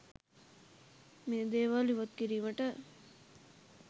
මේ දේවල් ඉවත් කිරීමට